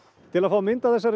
til að fá mynd á þessa